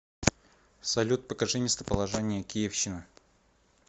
салют покажи местоположение киевщина